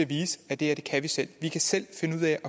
vise at det her kan vi selv vi kan selv finde